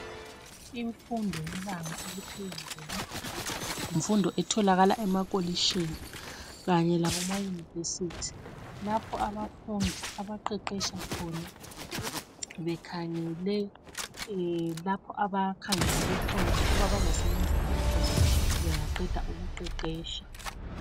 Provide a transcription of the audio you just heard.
Imfundo yebanga eliphezulu. Yimfundo etholakala e- makolishini, kanye lemauniversity. Lapho abafundi abaqeqesha khona. Bekhangele lapho abakhangelele khona, ukuthi kulapho abazasebenzela khona sebeqede ukuqeqetsha.